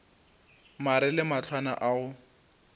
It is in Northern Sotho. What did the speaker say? mare le mahlwana a go